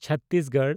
Chhattisgarh